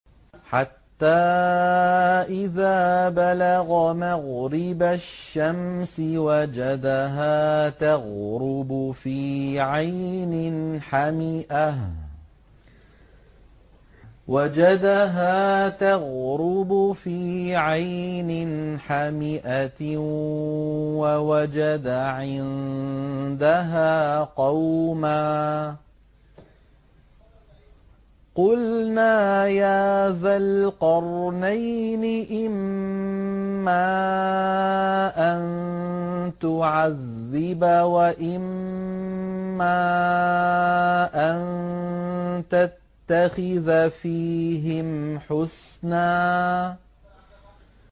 حَتَّىٰ إِذَا بَلَغَ مَغْرِبَ الشَّمْسِ وَجَدَهَا تَغْرُبُ فِي عَيْنٍ حَمِئَةٍ وَوَجَدَ عِندَهَا قَوْمًا ۗ قُلْنَا يَا ذَا الْقَرْنَيْنِ إِمَّا أَن تُعَذِّبَ وَإِمَّا أَن تَتَّخِذَ فِيهِمْ حُسْنًا